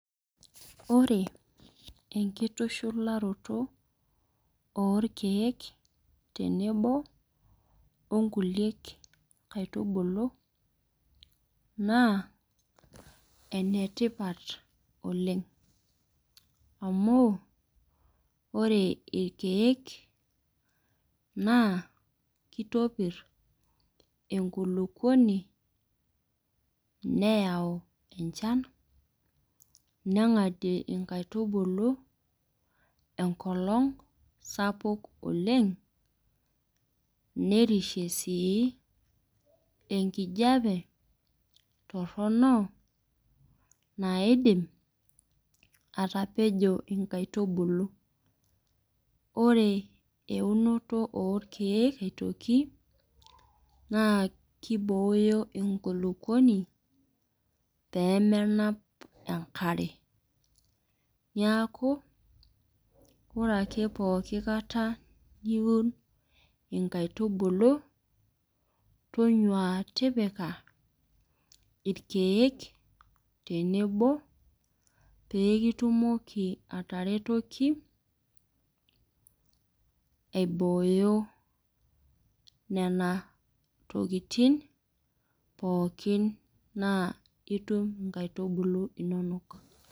Ore enkitushularoto, orkeek tenebo onkuliek aitubulu, naa enetipat oleng. Amu, ore irkeek, naa kitopir enkulukuoni, neyau enchan, neng'adie inkaitubulu, enkolong sapuk oleng, nerishie sii enkijape torrono, naidim atapejo inkaitubulu. Ore eunoto orkeek aitoki, naa kibooyo enkulukuoni, pemenap enkare. Niaku, ore ake pooki kata niun inkaitubulu, tonyua tipika irkeek tenebo pekitumoki ataretoki, aibooyo nena tokiting, pookin naa itum inkaitubulu inonok.